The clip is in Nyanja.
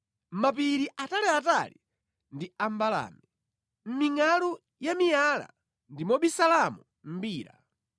Mapiri ataliatali ndi a mbalale; mʼmingʼalu ya miyala ndi mobisalamo mbira.